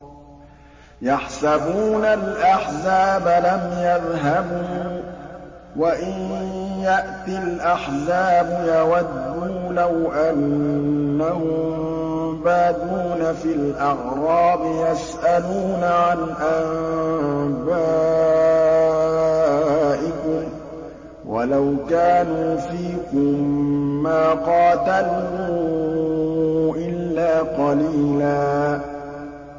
يَحْسَبُونَ الْأَحْزَابَ لَمْ يَذْهَبُوا ۖ وَإِن يَأْتِ الْأَحْزَابُ يَوَدُّوا لَوْ أَنَّهُم بَادُونَ فِي الْأَعْرَابِ يَسْأَلُونَ عَنْ أَنبَائِكُمْ ۖ وَلَوْ كَانُوا فِيكُم مَّا قَاتَلُوا إِلَّا قَلِيلًا